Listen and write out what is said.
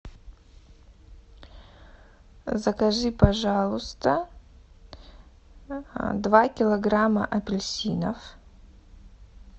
закажи пожалуйста два килограмма апельсинов